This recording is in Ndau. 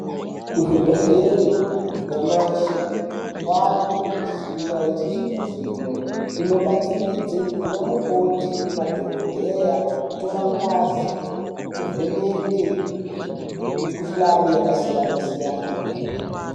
Kuzvibhedhleri nyamashi kwave nemishina yechizvino zvino inobatsiridze ana mukoti namadhogodheya kutora ngazi nekuvheneke mikuhlani yakasiyana siyana.